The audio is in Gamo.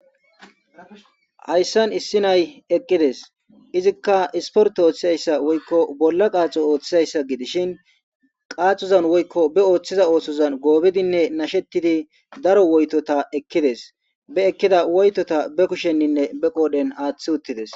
Hayssan issi nay eqqides izikka isportte ooththizayssa woykko bolla qaaxo ooththizayssa gidishin qaaxozan woykko be ooththiza oosozan goobidinne nashettidi daro woytota ekkides. Be ekkida woytota be kushenninne be qoodhen aaththi uttides.